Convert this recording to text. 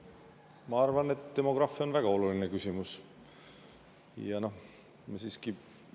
Ma arvan, et demograafia on väga oluline.